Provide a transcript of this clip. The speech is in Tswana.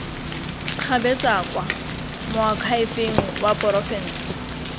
kgabetsa kwa moakhaefeng wa porofense